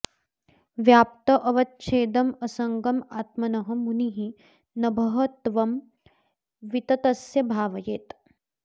व्याप्त्य अवच्छेदम् असङ्गम् आत्मनः मुनिः नभः त्वं विततस्य भावयेत्